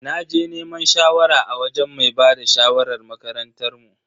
Naje neman shawara a wajen mai bada shawarar makarantar mu.